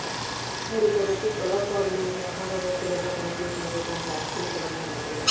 వారు తరచూ కళాకారులు వ్యాపారవేత్తలుగా పనిచేశారు కొంత ఆస్తిని కలిగి ఉన్నారు